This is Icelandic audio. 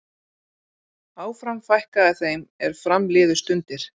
Áfram fækkaði þeim er fram liðu stundir.